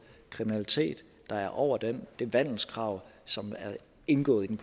kriminalitet der er over det vandelskrav som indgår i den